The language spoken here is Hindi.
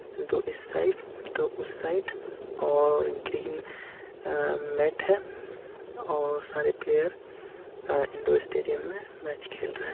दो इस साइड दो उस साइड और ग्रीन अ मेट है और सारे प्लेयर अ इंडो - स्टेडियम में मैच खेल रहे हैं।